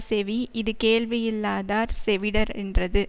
செவி இது கேள்வியில்லாதார் செவிட ரென்றது